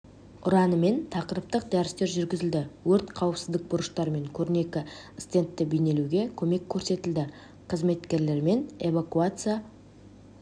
ұранымен тақырыптық дәрістер жүргізілді өрт қауіпсіздік бұрыштар мен көрнекі стендтті бейнелеуге көмек көрсетілді қызметкерлермен эвакуация